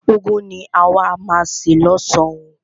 Úgwu ni àwa má a se lọ́san oo.